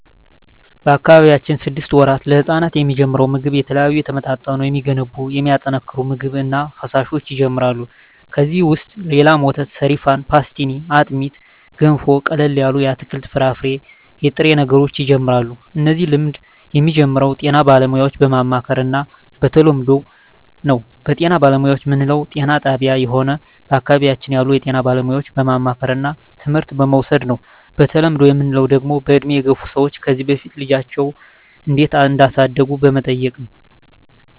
በአካባቢያችን ስድስት ወራት ለህጻናት የሚጀምረው ምግብ የተለያዩ የተመጣጠኑ የሚገነቡ የሚያጠናክሩ ምግብ እና ፈሣሾች ይጀመራሉ ከዚ ውሰጥ የላም ወተት ሰሪፋን ፓሥትኒ አጥሜት ገንፎ ቀለል ያሉ የአትክልት የፍራፍሬ የጥሬ ነገሮች ይጀምራሉ እነዚህ ልምድ የሚጀምረው ጤና ባለሙያዎች በማማከር እና በተለምዶው ነው በጤና ባለሙያዎች ምንለው ጤና ጣብያ ሆነ በአካባቢያችን ያሉ የጤና ባለሙያዎች በማማከርና ትምህርት በመዉሰድ ነው በተለምዶ ምንለው ደግሞ በእድሜ የገፍ ሰዎች ከዚ በፊት ልጃቸው እንዴት እዳሳደጉ በመጠየቅ ነው